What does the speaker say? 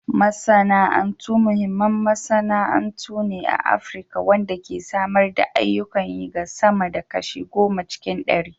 Masana'antu muhimmin masana'antu ne a Afirka wanda ke samar da ayyukan yi ga sama da kashi goma cikin ɗari.